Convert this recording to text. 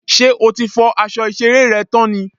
Ṣé o ti fọ́ aṣọ ìṣeré rẹ tán ni?